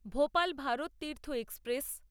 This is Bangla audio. ভোপাল ভারততীর্থ এক্সপ্রেস